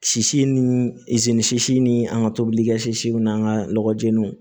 Sisi ni sisi ni an ka tobilikɛs n'an ka lɔgɔ jeniw